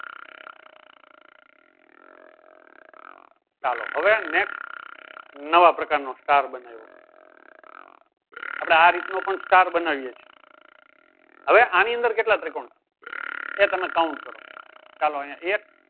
ચાલો હવે next નવા પ્રકાર નો સ્ટાર બનાવો આપળે આ રીતે પણ સ્ટાર બનાવીએ છીએ હવે આની અંદર કેટલા ત્રિકોણ છે એ તમે count કરો ચાલો અયીયા એક